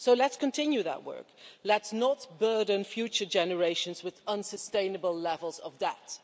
So let's continue that work, let's not burden future generations with unsustainable levels of debt.